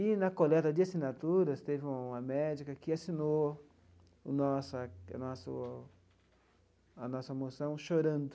E, na coleta de assinaturas, teve uma médica que assinou a nossa o nosso a nossa moção chorando.